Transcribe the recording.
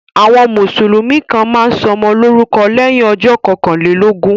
Àwọn Mùsùlùmí kàn máa ń sọmọ lórúkọ lẹ́yìn ọjọ́ kọkànlélógún